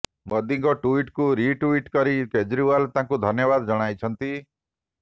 ମୋଦୀଙ୍କ ଟ୍ୱିଟ୍କୁ ରିଟ୍ୱଟ୍ କରି କେଜରିୱାଲ ତାଙ୍କୁ ଧନ୍ୟବାଦ ଜଣାଇଛନ୍ତି